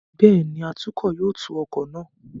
Bẹ́ẹ̀ni, atukọ̀ yóò tu ọkọ̀ náà.